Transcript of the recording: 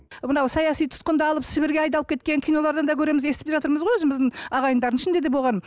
мынау саяси тұтқындалып сібірге айдалып кеткен кинолардан да көреміз естіп жатырмыз ғой өзіміздің ағайындардың да ішінде болған